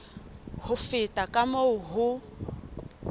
ho feta ka moo ho